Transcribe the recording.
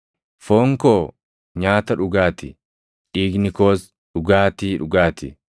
Foon koo nyaata dhugaatii; dhiigni koos dhugaatii dhugaa ti.